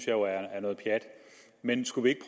jo er noget pjat men skulle vi